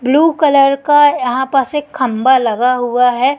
Blue colour का यहां प से खंभा लगा हुआ है।